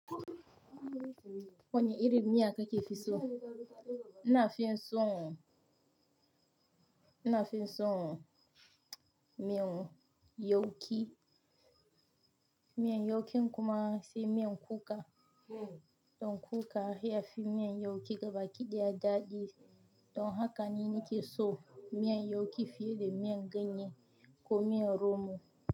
Wani irin miya kake fi so? Ina fin son miyan yauƙi. Miyan yaukin kuma sai miyan kuka. Don kuka ya fi miyan yauƙi gaba kidaya daɗi. Don haka ne nake son miyan yauƙi fiye da miyan ganye ko miyan romo.